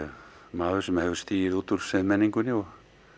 maður sem hefur stigið út úr siðmenningunni og